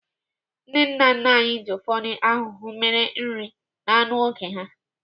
Ndị nna nna anyị ji ufodu ahuhu mere nri na anụ n'oge ha.